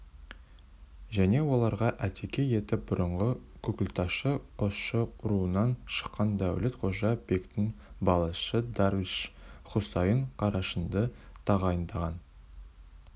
және оларға атеке етіп бұрынғы күкілташы қосшы руынан шыққан дәулет-қожа бектің баласы дарвиш-хұсайын-қарашыңды тағайындаған